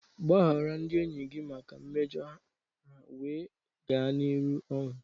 Gbaghara ndị enyi gị maka mmejọ ha wee gaa n'ihu ọnụ.